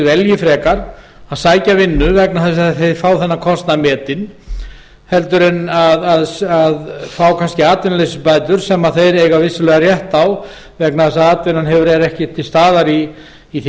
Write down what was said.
áðan frekar að sækja vinnu vegna þess að þeir fái kostnaðinn metinn frekar en að fá kannski atvinnuleysisbætur sem þeir eiga vissulega rétt á vegna þess að atvinnan er ekki til staðar í því